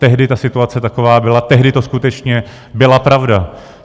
Tehdy ta situace taková byla, tehdy to skutečně byla pravda.